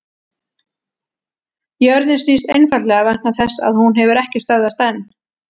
jörðin snýst einfaldlega vegna þess að hún hefur ekki stöðvast enn!